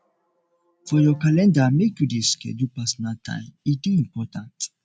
for your calender make you dey schedule personal time e dey important